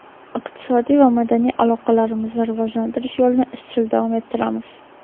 iqtisodiy va madaniy aloqalarimizni rivojlantirish yo‘lini izchil davom ettiramiz.